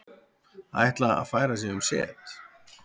Ætla að færa sig um set